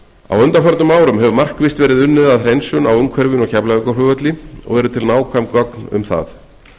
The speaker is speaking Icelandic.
á undanförnum árum hefur markvisst verið unnið að hreinsun á umhverfinu á keflavíkurflugvelli og eru til nákvæm gögn um það